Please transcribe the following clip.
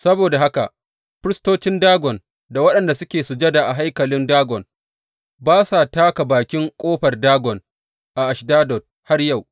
Saboda haka firistocin Dagon da waɗanda suke sujada a haikalin Dagon ba sa taka bakin ƙofar Dagon a Ashdod har wa yau.